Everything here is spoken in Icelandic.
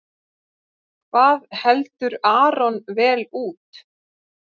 Hvað heldur Aron vel út?